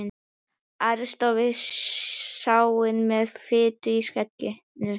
Ari stóð við sáinn með fitu í skegginu.